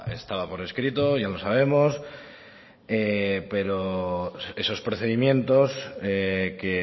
estaba por escrito ya lo sabemos pero esos procedimientos que